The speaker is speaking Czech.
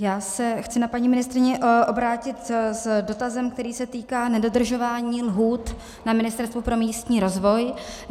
Já se chci na paní ministryni obrátit s dotazem, který se týká nedodržování lhůt na Ministerstvu pro místní rozvoj.